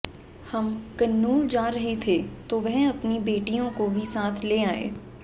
हम कन्नूर जा रहे थे तो वह अपनी बेटियों को भी साथ ले आई